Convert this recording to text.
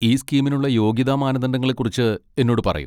ഈ സ്കീമിനുള്ള യോഗ്യതാ മാനദണ്ഡങ്ങളെക്കുറിച്ച് എന്നോട് പറയൂ.